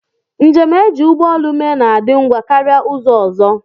Njem e ji ụgbọelu mee na-adị ngwa karịa ụzọ ọzọ